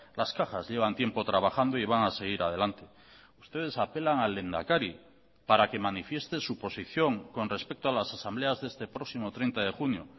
las cajas llevan tiempo trabajando y van a seguir adelante ustedes apelan al lehendakari para que manifieste su posición con respecto a las asambleas de este próximo treinta de junio